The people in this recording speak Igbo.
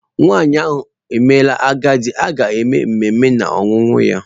Nwanyị ahụ emela agadi, a ga-eme ememe na-ọnwụ ya.